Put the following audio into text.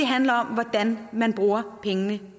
handler om hvordan man bruger pengene